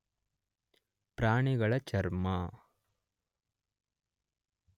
ಪ್ರಾಣಿಗಳಚರ್ಮ